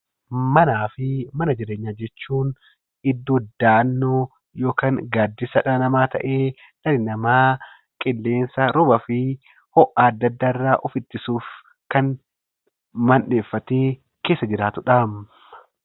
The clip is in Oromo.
Manaa fi mana jireenyaa jechuun iddoo dahannoo yookaan gaaddisa dhala namaa ta'ee, dhalli namaa qilleensa, roobaa fi ho'a addaa addaa irraa of ittisuuf kan mandheeffatee keessa jiraatudha.